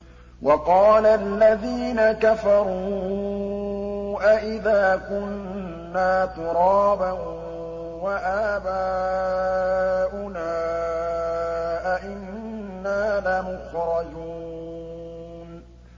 وَقَالَ الَّذِينَ كَفَرُوا أَإِذَا كُنَّا تُرَابًا وَآبَاؤُنَا أَئِنَّا لَمُخْرَجُونَ